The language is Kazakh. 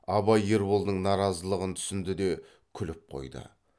абай ерболдың наразылығын түсінді де күліп қойды